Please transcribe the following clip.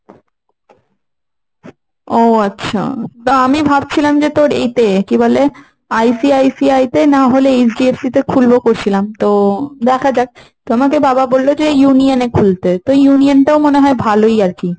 ও আচ্ছা। তো আমি ভাবছিলাম তোর এতে কি বলে ICICI তে না হলে HDFC তে খুলবো করছিলাম। তো দেখা যাক। তো আমাকে বাবা বলল যে Union এ খুলতে। তো Union টা ও মনে হয় ভালই আর কি।